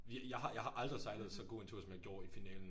Vi jeg har jeg har aldrig sejlet så god en tur som jeg gjorde i finalen